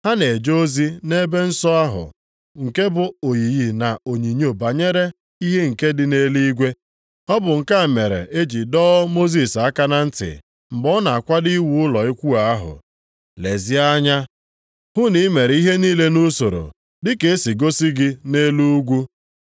Ha na-eje ozi nʼebe nsọ ahụ nke bụ oyiyi na onyinyo banyere ihe nke dị nʼeluigwe. Ọ bụ nke a mere e ji dọọ Mosis aka na ntị mgbe ọ na-akwado iwu ụlọ ikwu ahụ, “Lezie anya hụ na i mere ihe niile nʼusoro dị ka e si gosiri gị nʼelu ugwu.” + 8:5 \+xt Ọpụ 25:40\+xt*